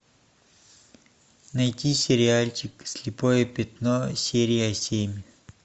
найти сериальчик слепое пятно серия семь